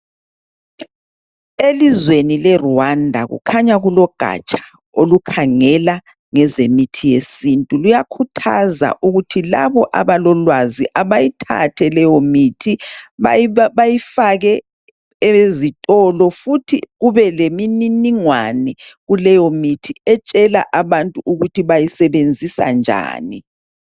Elizweni leRwanda kukhanya kulogatsha olukhangela ngezemithi yesiNtu luyakhuthaza ukuthi labo abalolwazi abayithathe leyomithi bayifake ezitolo futhi kube lemininingwane kuleyomithi etshela abantu ukuthi bayisebenzisa njani.